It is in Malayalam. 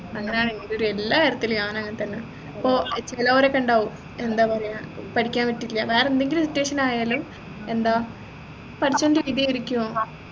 അങ്ങനെയാണ് എൻെറ ഒരു എല്ലാ കാര്യത്തിലും ഞാൻ അങ്ങനെ തന്നെ ഇപ്പൊ ചിലരൊക്കെ ഉണ്ടാവും എന്താ പറയാ പഠിക്കാൻ പറ്റില്ല വേറെ എന്തേലും situation ആയാലും എന്താ പഠിച്ചോണ്ടെ ഇരിക്കും